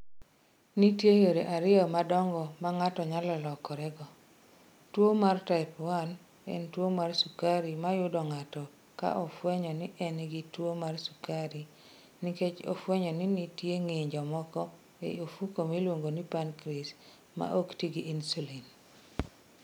Nitie yore ariyo madongo ma ng'ato nyalo lokorego. Tuwo mar Type 1 en tuwo mar sukari ma yudo ng'ato ka ofwenyo ni en gi tuwo mar sukari nikech ofwenyo ni nitie ng'injo moko e ofuko miluongo ni pancreas ma ok ti gi insulin.